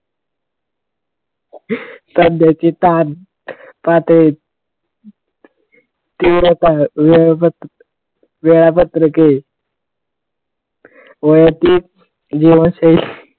सध्याची ताण पातळी तीव्रता वेबद वेळापत्रक वैयक्तिक जीवनशैली,